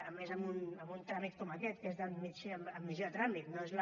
a més en un tràmit com aquest que és d’admissió a tràmit no és la